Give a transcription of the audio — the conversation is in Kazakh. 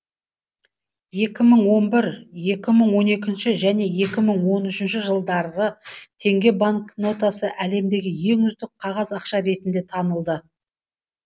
екі мың он бір екі мың он екінші және екі мың он үшінші жылдары теңге банкнотасы әлемдегі ең үздік қағаз ақша ретінде танылды